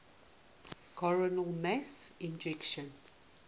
coronal mass ejections